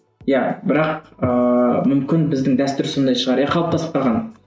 иә бірақ ыыы мүмкін біздің дәстүр сондай шығар иә қалыптасып қалған